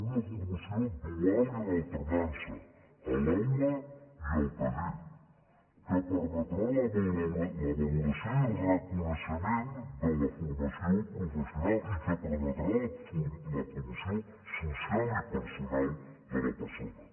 una formació dual i en alternança a l’aula i al taller que permetrà la valoració i el reconeixement de la formació professional i que permetrà la promoció social i personal de la persona